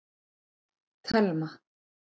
Telma